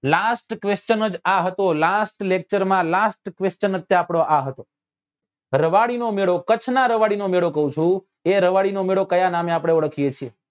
Last question જ આ હતો last lecture માં last question જ આપડો આ હતો રવાડી નો મેળો કચ્છ નાં રવાડી નો મેળો કઉં છું એ રવાડી નો મેળો આપડે કયા નામે ઓળખીએ છીએ